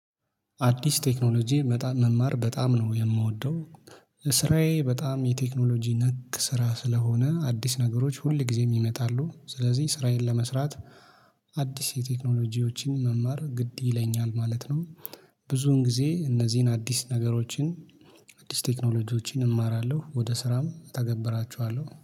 አዲስ ቴክኖሎጂ መጣ መማር በጣም ነው የምወደው። ስራዬ በጣም የቴክኖሎጂ ነክ ስራ ስለሆነ አዲስ ነገሮች ሁል ጊዜ ይመጣሉ ስለዚህ ስራዬን ለመስራት አዲስ የቴክኖሎጂዎችን መማር ግድ ይለኛል ማለት ነው። ብዙን ጊዜ እነዚህን አዲስ ነገሮችን። አዲስ ቴክኖሎጂዎችን እማራለሁ ወደ ስራም እተገብራቸዋለሁ